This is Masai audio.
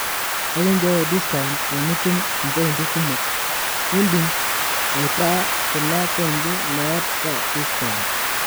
ekinchooyo discount tenitum ipointi kumok ,idim aitaa kuna pointi meeta discount